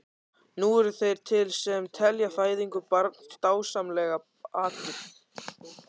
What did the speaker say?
Nú eru þeir til sem telja fæðingu barns dásamlegan atburð.